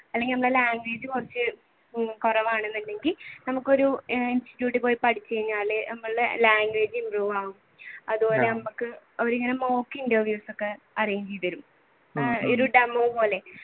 അല്ലെങ്കിൽ നമ്മുടെ language കുറച്ചു കുറവാണ് അല്ലെങ്കിൽ നമുക്ക് ഒരു institute ഇൽ പോയി പഠിച്ചു കഴിഞ്ഞാൽ നമ്മളുടെ language improve ആവും അതുപോലെ നമുക്ക് അവർ ഇങ്ങനെ mock interviews ഒക്കെ arrange ചെയ്തു തരും demo പോലെ